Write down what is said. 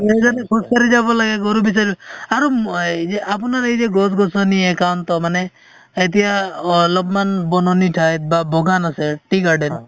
আমি যদি খোজ কাঢ়ি যাব লাগে গৰু আৰু আপুনাৰ এই যে গছ গছনি একান্ত মানে এতিয়া অলপমান বননি ঠাইত বা বাগান আছে tea garden